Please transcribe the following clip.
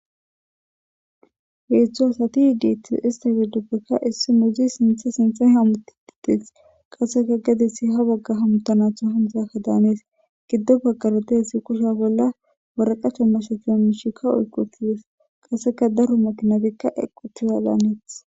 Heetzthu asati iiditis istafi duppekka issi muzi sintha sinthe hamuti ditis qasseka gadissi ha bagga hamutanatho hamusakka daanees giddo baggaro dehessi kushe bolla waraqacho mashatea mishika oyqutides qasseka daro makinabikka equtiwalaaneeth.